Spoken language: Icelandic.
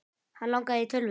Hann langaði í tölvu.